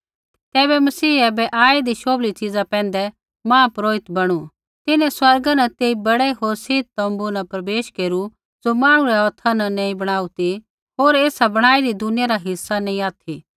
तैबै मसीह ऐबै आईदी शोभली च़ीज़ा पैंधै महापुरोहित बणु तिन्हैं स्वर्गा न तेई बड़ै होर सिद्ध तोम्बू न प्रवेश केरु ज़ो मांहणु रै हौथा नैंई बणाऊ ती होर ऐ ऐसा बणाईदी दुनिया रा हिस्सा नैंई ऑथि